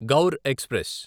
Gaur express